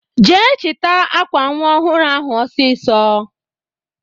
Jee chita akwa nwa ọhụrụ ahụ ọsisọ!